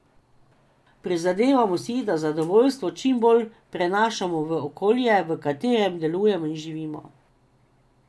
Prizadevamo si, da zadovoljstvo čim bolj prenašamo v okolje, v katerem delujemo in živimo.